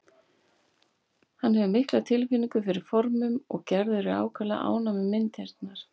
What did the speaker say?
Hann hefur mikla tilfinningu fyrir formum og Gerður er ákaflega ánægð með myndirnar.